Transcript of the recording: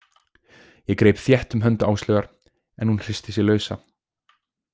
Ég greip þétt um hönd Áslaugar en hún hristi sig lausa.